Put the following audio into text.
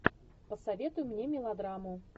посоветуй мне мелодраму